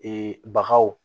bagaw